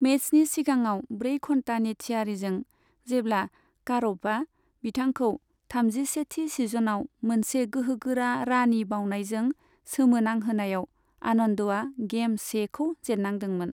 मेचनि सिगाङाव ब्रै घन्तानि थियारिजों, जेब्ला कारप'भआ बिथांखौ थामजिसेथि सिजनाव मोनसे गोहोगोरा रानी बावनायजों सोमोनांहोनायाव आनन्दआ गेम सेखौ जेन्नांदोंमोन।